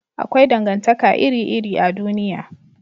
Akwai dangantaka iri iri a duniya